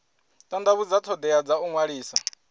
tandavhudza thodea dza u ṅwalisa